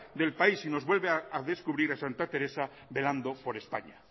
del país y nos vuelve a descubrir a santa teresa velando por españa